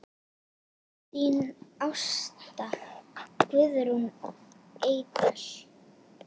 Þín Ásta Guðrún Eydal.